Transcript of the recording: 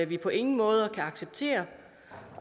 vi på ingen måde kan acceptere